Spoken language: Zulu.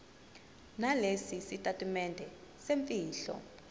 nalesi sitatimende semfihlo